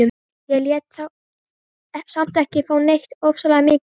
Ég lét þá samt ekki fá neitt ofsalega mikið.